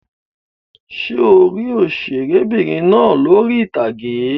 Ṣé o rí òṣèré'bìnrin náà lórí ìtàgé?